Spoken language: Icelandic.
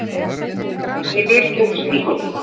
Ég lifi ekki út frá því.